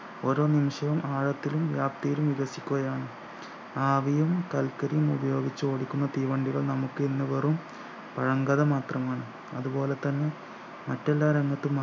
ഒരോ നിമിഷവും ആഴത്തിലും വ്യാപ്‌തിയിലും വിഭജിക്കുകയാണ് ആവിയും കൽക്കരിയും ഉപയോഗിച്ച് ഓടിക്കുന്ന തീവണ്ടികൾ നമുക്ക് ഇന്ന് വെറും പഴങ്കഥ മാത്രമാണ് അതു പോലെ തന്നെ മറ്റെല്ലാ രംഗത്തും